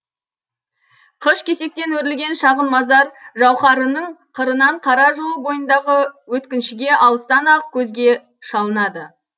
қыш кесектен өрілген шағын мазар жауқараның қырынан қара жол бойындағы өткіншіге алыстан ақ көзге шалынады